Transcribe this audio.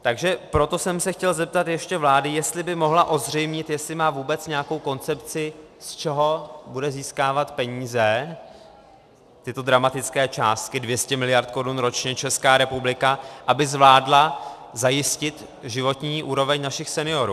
Takže proto jsem se chtěl zeptat ještě vlády, jestli by mohla ozřejmit, jestli má vůbec nějakou koncepci, z čeho bude získávat peníze, tyto dramatické částky, 200 mld. korun ročně, Česká republika, aby zvládla zajistit životní úroveň našich seniorů.